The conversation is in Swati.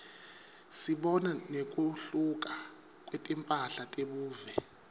sibona nekuhluka kwetimphahla tebuve